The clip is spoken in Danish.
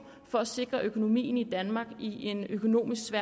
for at sikre økonomien i danmark i en økonomisk svær